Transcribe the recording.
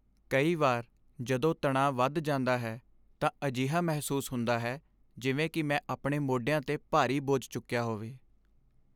ਕਈ ਵਾਰ, ਜਦੋਂ ਤਣਾਅ ਵਧ ਜਾਂਦਾ ਹੈ, ਤਾਂ ਅਜਿਹਾ ਮਹਿਸੂਸ ਹੁੰਦਾ ਹੈ ਜਿਵੇਂ ਕਿ ਮੈਂ ਆਪਣੇ ਮੋਢਿਆਂ 'ਤੇ ਭਾਰੀ ਬੋਝ ਚੁੱਕਿਆ ਹੋਵੇ।